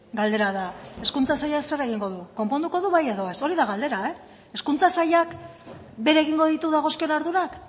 galdera da hezkuntza sailak zer egingo du konponduko du bai edo ez hori da galdera hezkuntza sailak bere egingo ditu dagozkion ardurak